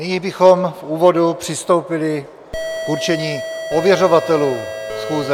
Nyní bychom v úvodu přistoupili k určení ověřovatelů schůze.